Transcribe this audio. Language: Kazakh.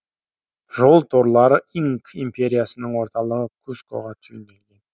жол торлары инк империясының орталығы кускоға түйінделген